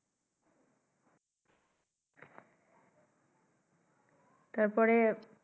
তার পরে।